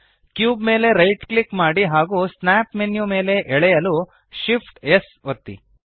cube ಮೇಲೆ right click ಮಾಡಿ ಹಾಗೂ ಸ್ನ್ಯಾಪ್ ಮೆನ್ಯು ಮೇಲೆ ಎಳೆಯಲು Shift ಆ್ಯಂಪ್ S ಒತ್ತಿ